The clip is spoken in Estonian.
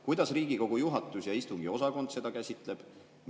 Kuidas Riigikogu juhatus ja istungiosakond seda käsitleb?